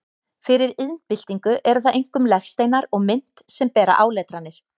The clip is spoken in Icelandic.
Fyrir iðnbyltingu eru það einkum legsteinar og mynt sem bera áletranir.